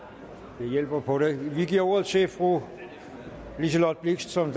nu hjælper det på det vi giver ordet til fru liselott blixt som